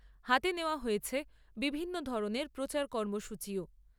হাতে নেওয়া হয়েছে বিভিন্ন ধরণের প্রচার কর্মসূচীও।